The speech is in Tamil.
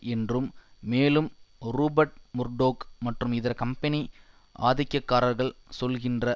என்றும் மேலும் ரூபர்ட் முர்டோக் மற்றும் இதர் கம்பெனி ஆதிக்கக்காரர்கள் சொல்லுகின்ற